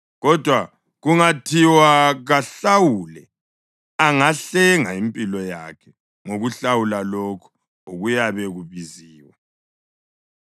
Kodwa kungathiwa kahlawule, angahlenga impilo yakhe ngokuhlawula lokho okuyabe kubiziwe.